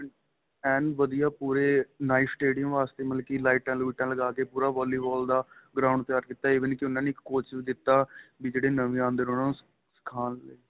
ਐਨ ਵਧੀਆ ਪੂਰੇ night stadium ਵਾਸਤੇ ਮਤਲਬ ਕਿ ਲਾਈਟਾਂ ਲੁਈਟਾਂ ਲਗਾ ਕੇ ਪੂਰਾ ਵਾਲੀਵਾਲ ਦਾ ground ਤਿਆਰ ਕੀਤਾ ਏ even ਕਿ ਉਹਨਾ ਨੇ ਇੱਕ coach ਵੀ ਦਿੱਤਾ ਵੀ ਜਿਹੜੇ ਨਵੇਂ ਆਉਦੇ ਨੇ ਉਹਨਾ ਨੂੰ ਸਿਖਾਂਣ ਲਈ